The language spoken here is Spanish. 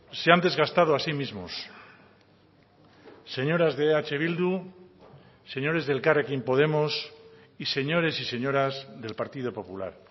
se han desgastado a sí mismos señoras de eh bildu señores de elkarrekin podemos y señores y señoras del partido popular